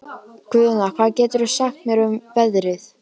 Guðna, hvað geturðu sagt mér um veðrið?